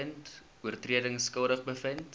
oortredings skuldig bevind